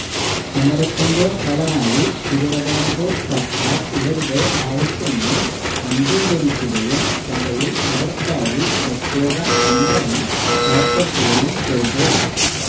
സമരത്തിന്റെ ഫലമായി തിരുവിതാംകൂർ സർക്കാർ ഇവരുടെ ആവശ്യങ്ങൾ അംഗികരിക്കുകയും സഭയിൽ ഇവർക്കായി പ്രത്യേകം സംവരണം ഏർപ്പെടുത്തുകയും ചെയ്തു